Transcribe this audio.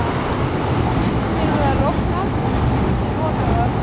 Stundum eru þær opnar, stundum lokaðar.